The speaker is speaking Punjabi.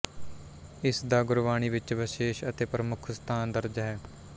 ਇਸ ਦਾ ਗੁਰਬਾਣੀ ਵਿੱਚ ਵਿਸ਼ੇਸ਼ ਅਤੇ ਪ੍ਰਮੁੱਖ ਸਥਾਨ ਦਰਜ ਹੈ